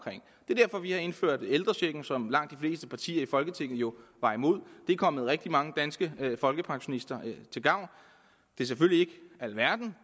det er derfor vi har indført ældrechecken som langt de fleste partier i folketinget jo var imod det er kommet rigtig mange danske folkepensionister til gavn det er selvfølgelig ikke alverden